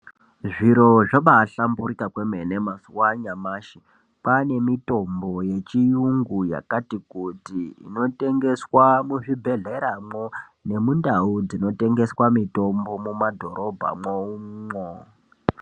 Zviro zvabaahlamburika kwemene mazuwa anyamashi kwaane mitombo yechiyungu yakati kuti inotengeswa muzvibhedhleramwo nemundau dzinotengeswa mitombo mumadhorobha mwomwo.